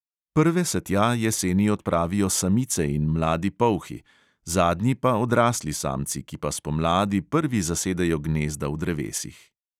Prve se tja jeseni odpravijo samice in mladi polhi, zadnji pa odrasli samci, ki pa spomladi prvi zasedejo gnezda v drevesih.